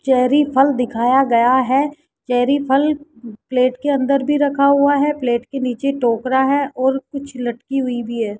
Cherry फल दिखाया गया है चेरी फल प्लेट के अंदर भी रखा हुआ है प्लेट के नीचे टोकरा है और कुछ लटकी हुई भी है।